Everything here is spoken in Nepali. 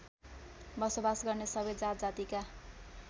बसोबास गर्ने सबै जातजातिका